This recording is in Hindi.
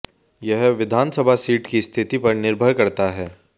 यह विधानसभा सीट की स्थिति पर निर्भर करता है